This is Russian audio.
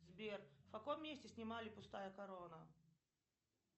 сбер в каком месте снимали пустая корона